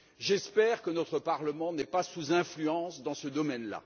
J'espère que notre Parlement n'est pas sous influence dans ce domaine là.